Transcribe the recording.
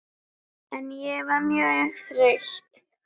En ég var mjög þreytt.